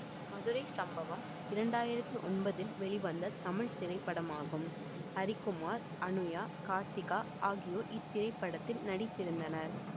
மதுரை சம்பவம் இரண்டு ஆயிரத்தி ஒன்பதில் வெளிவந்த தமிழ் திரைப்படமாகும் ஹரிகுமார் அனுயா கார்த்திகா ஆகியோர் இத்திரைப்படத்தில் நடித்திருந்தனர்